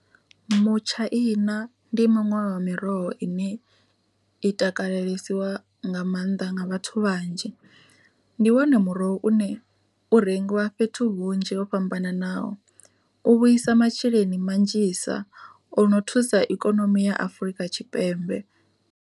Mutshaina ndi muṅwe wa miroho ine i takalelisiwa nga maanḓa nga vhathu vhanzhi, ndi wone muroho une u rengiwa fhethu hunzhi ho fhambananaho u vhuisa masheleni manzhisa ono thusa ikonomi ya Afurika Tshipembe.